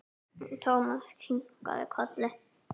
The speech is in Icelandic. Thomas kinkaði kolli.